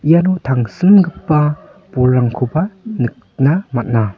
iano tangsimgipa bolrangkoba nikna man·a.